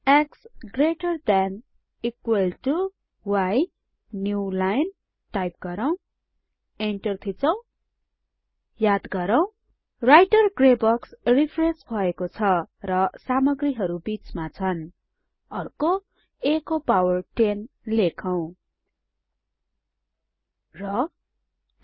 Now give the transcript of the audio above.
x greater than equal to y new line type गरौँ enter थिचौं याद गरौ राइटर ग्रे बक्स रेफ्रेश भएको छ र सामग्रीहरु बीचमा छन् अर्को a को पावर 10 लेखौ र 2